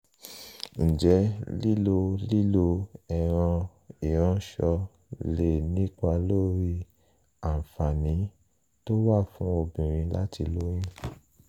ǹjẹ́ lílo lílo ẹ̀rọ ìránṣọ lè nípa lórí àǹfààní tó wà fún obìnrin láti lóyún?